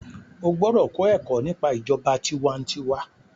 o gbódò kọ Èkó nípa ìjọba tiwantiwa.